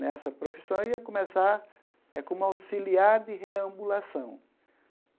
Nessa profissão eu ia começar eh como auxiliar de reambulação.